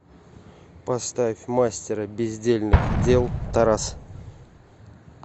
поставь мастера бездельных дел тарас